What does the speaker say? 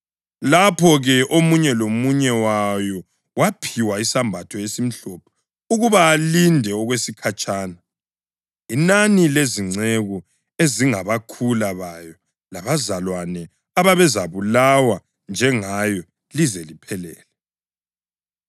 Lapho-ke omunye lomunye wayo waphiwa isembatho esimhlophe ukuba alinde okwesikhatshana, inani lezinceku ezingabakhula bayo labazalwane ababezabulawa njengayo lize liphelele.